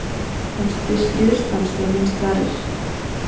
Dansið þið stríðsdans þegar minnst varir?